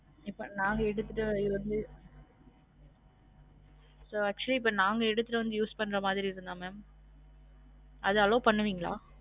இப்ப நாங்க எடுத்திட்டு வந்து இப்ப actually இப்ப நாங்க எடுத்திட்டு வந்து use பண்ற மாதிரி இருந்தா mam அது allow பன்னுவிங்களா?